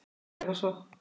Og hverfa svo.